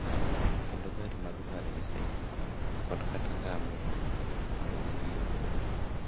Kendo gari mag farese kod kata ngamia mondo gidhi e wuoth.